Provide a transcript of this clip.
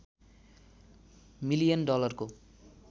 million डलरको